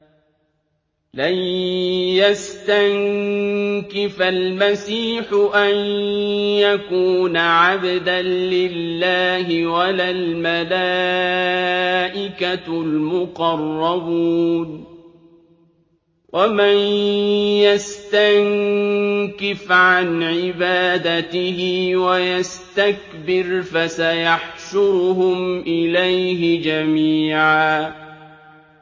لَّن يَسْتَنكِفَ الْمَسِيحُ أَن يَكُونَ عَبْدًا لِّلَّهِ وَلَا الْمَلَائِكَةُ الْمُقَرَّبُونَ ۚ وَمَن يَسْتَنكِفْ عَنْ عِبَادَتِهِ وَيَسْتَكْبِرْ فَسَيَحْشُرُهُمْ إِلَيْهِ جَمِيعًا